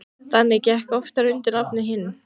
Danni gekk oftar undir nafninu Hinn.